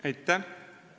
Aitäh!